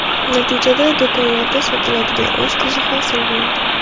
Natijada do‘konlarda sotiladigan osh tuzi hosil bo‘ladi.